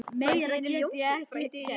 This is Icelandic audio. Meira get ég ekki gert.